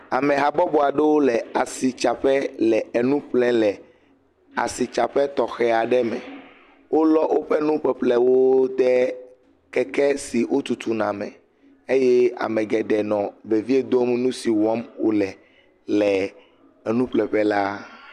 Amehabɔbɔ aɖewo le asitsaƒe le enu ƒle le asitsaƒe tɔxɛ aɖe me. Wolɔ woƒe nuƒeƒle ɖe keke si wotutuna me eye ame geɖee nɔ vevie dom nu si wɔm wole le enuƒle ƒe la.